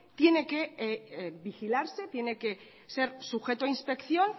tiene que vigilarse tiene que ser sujeto a inspección